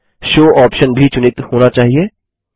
show option भी चुनित होना चाहिए